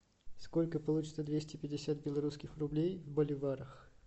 сколько получится двести пятьдесят белорусских рублей в боливарах